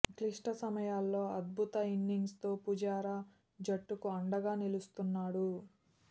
క్లిష్ట సమయాల్లో అద్భుత ఇన్నింగ్స్తో పుజారా జట్టుకు అండగా నిలుస్తున్నాడు